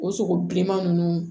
O sogo bilenman nunnu